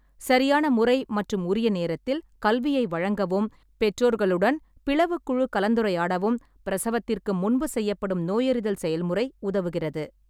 சரியான முறை மற்றும் உரிய நேரத்தில், கல்வியை வழங்கவும் பெற்றோர்களுடன் பிளவுக் குழு கலந்துரையாடவும் பிரசவத்திற்கு முன்பு செய்யப்படும் நோயறிதல் செயல்முறை உதவுகிறது.